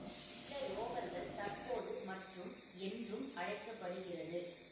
இந்த ரோவர்கள் தற்போது மற்றும் என்றும் அழைக்க படுகிறது